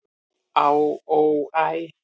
"""Á, ó, æ"""